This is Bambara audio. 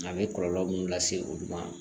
A bɛ kɔlɔlɔ minnu lase olu ma